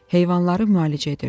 Heyvanları müalicə edirdi.